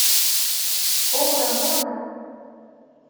о рамона